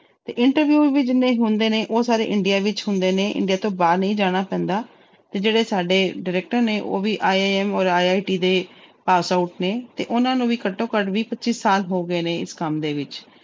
ਤੇ interview ਵੀ ਜਿੰਨੇ ਹੁੰਦੇ ਨੇ ਉਹ ਸਾਰੇ India ਵਿੱਚ ਹੁੰਦੇ ਨੇ India ਤੋਂ ਬਾਹਰ ਨਹੀਂ ਜਾਣਾ ਪੈਂਦਾ ਤੇ ਜਿਹੜੇ ਸਾਡੇ director ਨੇ ਉਹ ਵੀ IIM ਔਰ IIT ਦੇ pass out ਨੇ ਤੇ ਉਹਨਾਂ ਨੂੰ ਵੀ ਘੱਟੋ ਘੱਟ ਵੀਹ ਪੱਚੀ ਸਾਲ ਹੋ ਗਏ ਨੇ ਇਸ ਕੰਮ ਦੇ ਵਿੱਚ।